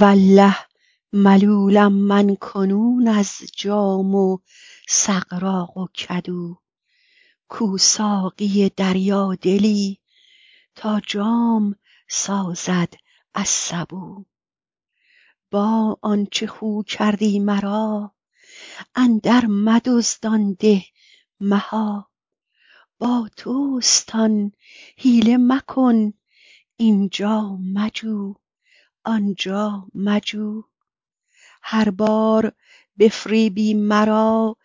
والله ملولم من کنون از جام و سغراق و کدو کو ساقی دریادلی تا جام سازد از سبو با آنچ خو کردی مرا اندرمدزد آن ده مها با توست آن حیله مکن این جا مجو آن جا مجو هر بار بفریبی مرا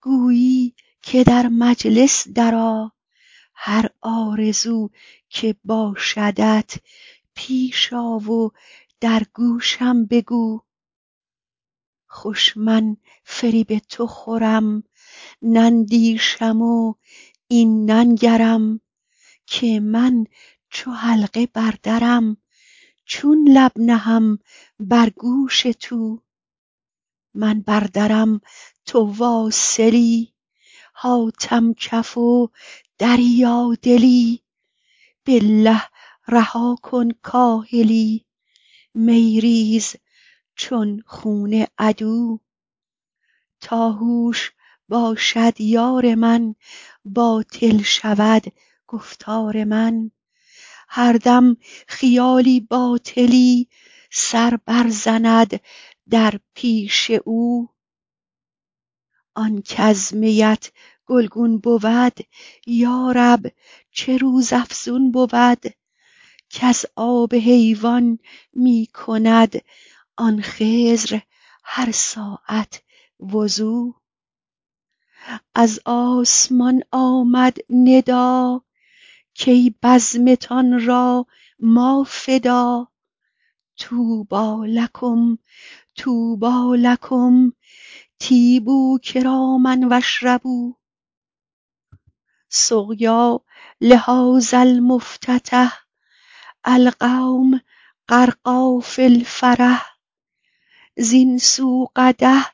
گویی که در مجلس درآ هر آرزو که باشدت پیش آ و در گوشم بگو خوش من فریب تو خورم نندیشم و این ننگرم که من چو حلقه بر درم چون لب نهم بر گوش تو من بر درم تو واصلی حاتم کف و دریادلی بالله رها کن کاهلی می ریز چون خون عدو تا هوش باشد یار من باطل شود گفتار من هر دم خیالی باطلی سر برزند در پیش او آن کز میت گلگون بود یا رب چه روزافزون بود کز آب حیوان می کند آن خضر هر ساعت وضو از آسمان آمد ندا کای بزمتان را ما فدا طوبی لکم طوبی لکم طیبوا کراما و اشربوا سقیا لهذا المفتتح القوم غرقی فی الفرح زین سو قدح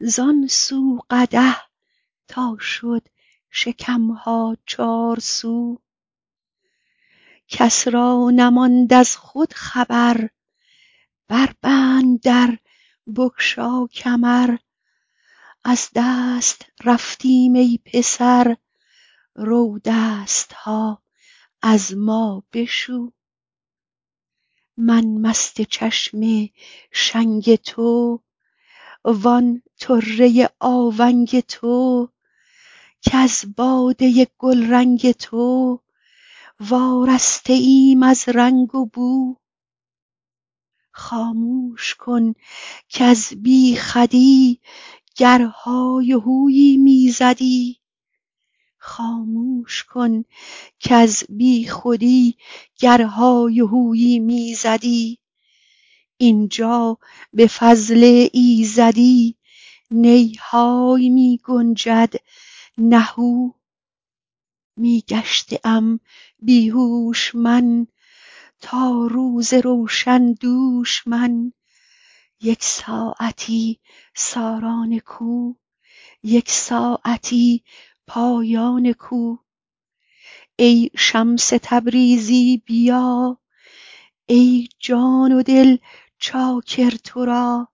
زان سو قدح تا شد شکم ها چارسو کس را نماند از خود خبر بربند در بگشا کمر از دست رفتیم ای پسر رو دست ها از ما بشو من مست چشم شنگ تو و آن طره آونگ تو کز باده گلرنگ تو وارسته ایم از رنگ و بو خامش کن کز بیخودی گر های و هویی می زدی این جا به فضل ایزدی نی های می گنجد نه هو می گشته ام بی هوش من تا روز روشن دوش من یک ساعتی ساران کو یک ساعتی پایان کو ای شمس تبریزی بیا ای جان و دل چاکر تو را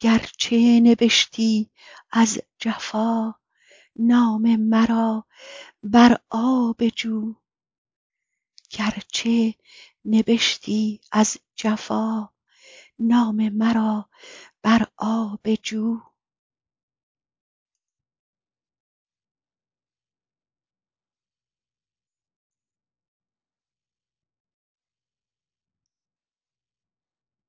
گرچه نبشتی از جفا نام مرا بر آب جو